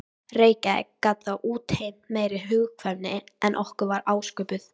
Reykjavíkur gat það útheimt meiri hugkvæmni en okkur var ásköpuð.